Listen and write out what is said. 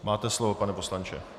Máte slovo, pane poslanče.